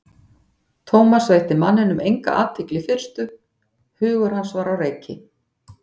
Thomas veitti manninum enga athygli í fyrstu, hugur hans var á reiki.